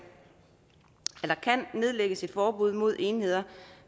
nedlægges et forbud mod enheder